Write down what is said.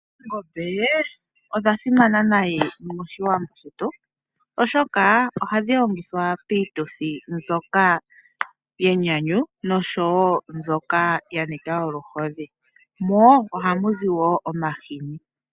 Oongombe odha simana nayi moshiwambo shetu oshoka oha dhi longithwa piituthi mbyoka yenyanyu noshowo mbyoka ya nika oluhodhi mo oha mu zi wo omahini.